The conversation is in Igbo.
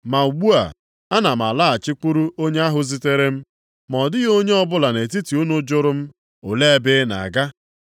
Ma ugbu a, ana m alaghachikwuru onye ahụ zitere m. Ma ọ dịghị onye ọbụla nʼetiti unu jụrụ m, ‘Olee ebe ị na-aga?’